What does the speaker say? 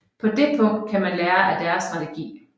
På dét punkt kan man lære af deres strategi